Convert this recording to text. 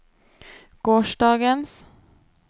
gårsdagens